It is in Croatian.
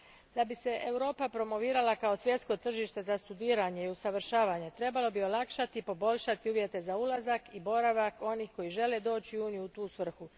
Da bi se Europa promovirala kao svjetsko tržište za studiranje i usavršavanje, trebalo bi olakšati i poboljšati uvjete za ulazak i boravak onih koji žele doći u Uniju u tu svrhu.